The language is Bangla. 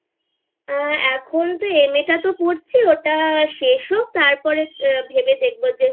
আ এখন তো MA টা তো পড়ছে ওটা শেষ হোক তারপরে ভেবে দেখবো যে